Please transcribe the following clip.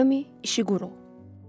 Naomi İşiğuro.